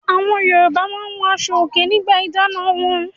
Awọn Yorùbá máa ń wọ aṣọòkè nígbà ìdáná wọn.